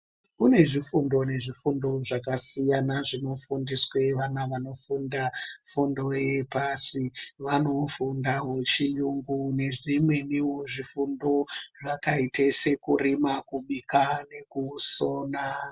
Kune zvifundo nezvifundo zvakasiyana zvinofundiswe vana vanofunda fundo yepashi. Vanofundawo chiyungu nezvimweniwo zvifundo zvakaite sekurima, kubika nekusona.